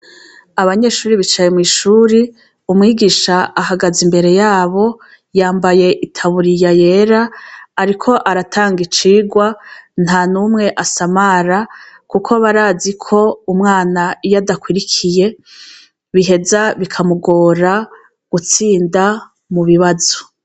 Abanyeshure bicaye mw'ishure umwigisha ahagaze imbere yabo yambaye itaburiya yera ariko aratanga icigwa, ntanumwe asamara kuko barazi ko umwana iyo adakurikiye biheza bikamugora gutsinda mubibazo.